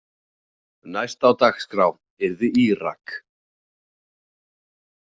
Næst á dagskrá yrði Írak.